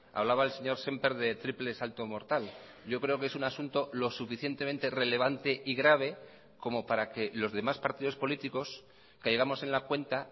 hablaba el señor sémper de triple salto mortal yo creo que es un asunto lo suficientemente relevante y grave como para que los demás partidos políticos caigamos en la cuenta